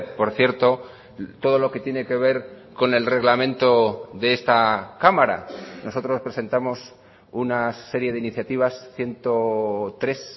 por cierto todo lo que tiene que ver con el reglamento de esta cámara nosotros presentamos una serie de iniciativas ciento tres